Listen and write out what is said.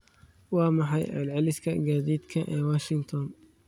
Waa maxay celceliska gaadiidka ee washington?